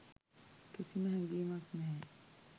කිසිම හැඟීමක් නැහැ